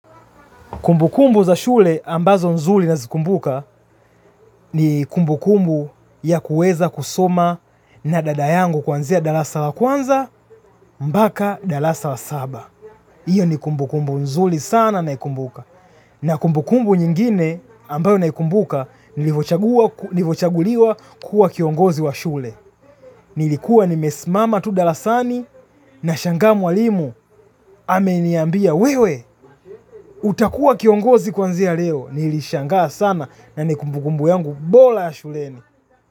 Kumbukumbu za shule ambazo nzuli nazikumbuka. Ni kumbukumbu ya kuweza kusoma na dada yangu kuanzia darasa la kwanza mbaka darasa la saba. Io ni kumbukumbu nzuli sana naikumbuka. Na kumbukumbu nyingine ambayo naikumbuka nilivochaguliwa kuwa kiongozi wa shule. Nilikuwa nimesimama tu dalasani nashangaa mwalimu ameniambia wewe utakua kiongozi kwanzia leo. Nilishangaa sana na ni kumbukumbu yangu bola ya shuleni.